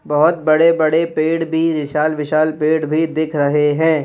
बहोत बड़े बड़े पेड़ भी विशाल विशाल पेड़ भी दिख रहे है।